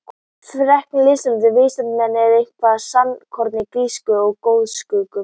Frekara lesefni á Vísindavefnum: Er eitthvert sannleikskorn í grísku goðsögunum?